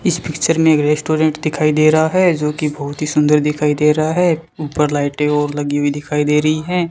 इस पिक्चर में एक रेस्टोरेंट दिखाई दे रहा है जो कि बहुत ही सुंदर दिखाई दे रहा है ऊपर लाइटें और लगी हुई दिखाई दे रही हैं।